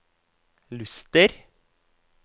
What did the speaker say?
Luster